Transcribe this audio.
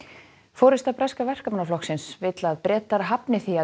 forysta breska Verkamannaflokksins vill að Bretar hafni því að